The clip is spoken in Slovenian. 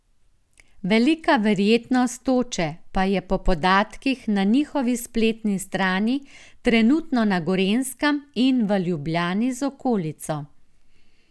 Velika verjetnost toče pa je po podatkih na njihovi spletni strani trenutno na Gorenjskem in v Ljubljani z okolico.